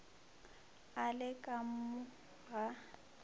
a le ka mo ga